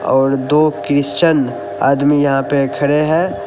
और दो क्रिस्टियन आदमी यहां पे खड़े है।